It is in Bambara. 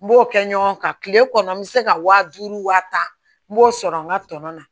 N b'o kɛ ɲɔgɔn kan kile kɔnɔ n bɛ se ka wa duuru wa tan n b'o sɔrɔ n ka tɔnɔ na